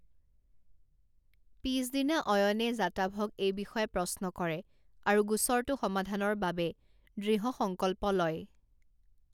পিছদিনা অয়নে জাটাভক এই বিষয়ে প্ৰশ্ন কৰে আৰু গোচৰটো সমাধানৰ বাবে দৃঢ়সঙ্কল্প লয়।